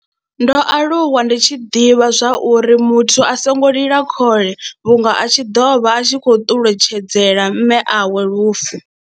Ndo aluwa ndi tshi ḓivha zwa uri muthu a songo lila khole vhunga a tshi ḓo vha a tshi khou ṱuletshedzela mme awe lufu.